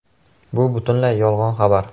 Bu butunlay yolg‘on xabar.